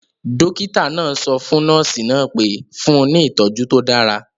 Dọ́kítà náà sọ fún nọ́ọ̀sì náà pé; fún un ní ìtọjú tó dára